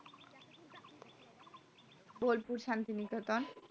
Bolpur Santiniketan